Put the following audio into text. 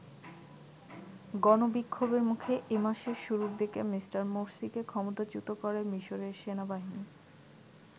গণ বিক্ষোভের মুখে এ মাসের শুরুর দিকে মিঃ মোরসিকে ক্ষমতাচ্যুত করে মিশরের সেনাবাহিনী।